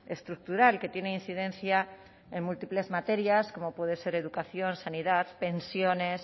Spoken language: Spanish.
estructural que tiene incidencia en múltiples materias como puede ser educación sanidad pensiones